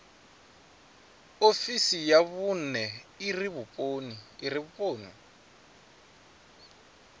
ofisi ya vhune ire vhuponi